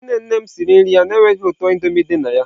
Nne nne m siri nri ya na-enweghị ụtọ Indomie dị na ya.